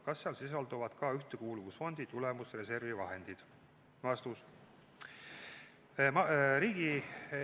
Kas seal sisalduvad ka Ühtekuuluvusfondi tulemusreservi vahendid?